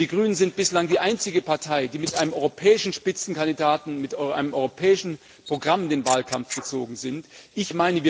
Denn die Grünen sind bislang die einzige Partei, die mit einem europäischen Spitzenkandidaten mit einem europäischen Programm in den Wahlkampf gezogen ist.